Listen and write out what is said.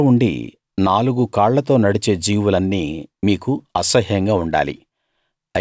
రెక్కలు ఉండి నాలుగుకాళ్లతో నడిచే జీవులన్నీ మీకు అసహ్యంగా ఉండాలి